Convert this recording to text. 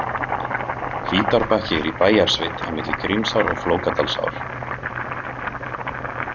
Hvítárbakki er í Bæjarsveit, á milli Grímsár og Flókadalsár.